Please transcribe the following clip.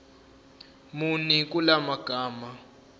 muni kula magama